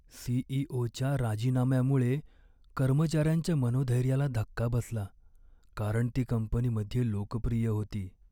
सी.ई.ओ.च्या राजीनाम्यामुळे कर्मचाऱ्यांच्या मनोधैर्याला धक्का बसला, कारण ती कंपनीमध्ये लोकप्रिय होती.